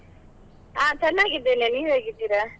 ಹ ಚನ್ನಾಗಿದ್ದೇನೆ, ನೀವ್ ಹೇಗಿದ್ದೀರಾ?